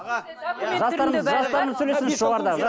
аға жастарымыз жастарымыз сөйлесінші жоғарыдағы